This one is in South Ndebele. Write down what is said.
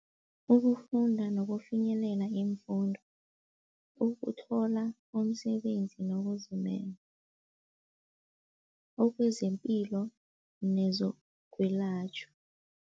Ukufunda nokufinyelela iimfundo, ukutlola umsebenzi nokuzimela, okwezempilo nezokwelatjhwa.